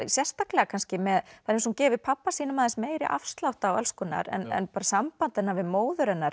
sérstaklega kannski með það er eins og hún gefi pabba sínum aðeins meiri afslátt af alls konar en bara samband hennar við móður hennar